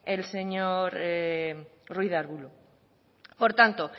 el señor ruiz de arbulo por tanto